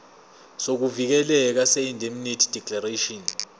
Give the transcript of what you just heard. sokuvikeleka seindemnity declaration